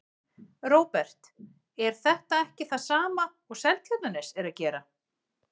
Róbert: En er þetta ekki sama og Seltjarnarnes er að gera?